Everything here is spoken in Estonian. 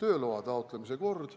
tööloa taotlemise kord.